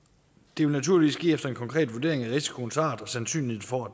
det vil naturligvis ske efter en konkret vurdering af risikoens art og sandsynligheden for at